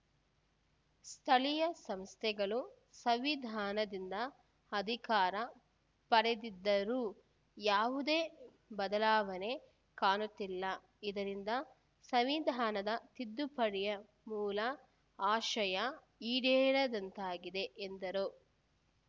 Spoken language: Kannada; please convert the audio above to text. ಸ್ಥಳೀಯ ಸಂಸ್ಥೆಗಳು ಸಂವಿಧಾನದಿಂದ ಅಧಿಕಾರ ಪಡೆದಿದ್ದರೂ ಯಾವುದೇ ಬದಲಾವಣೆ ಕಾಣುತ್ತಿಲ್ಲ ಇದರಿಂದ ಸಂವಿಧಾನದ ತಿದ್ದುಪಡಿಯ ಮೂಲ ಆಶಯ ಈಡೇರದಂತಾಗಿದೆ ಎಂದರು